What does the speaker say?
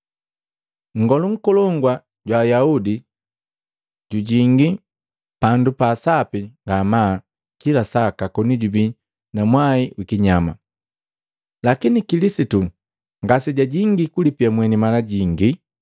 Nngolu Nkolongu jwa Ayaudi jujingi Pandu pa Sapi ngamaa kila saka koni jubii na mwai wi kinyama; lakini Kilisitu ngasejajingi kulipia mweni mala jingi,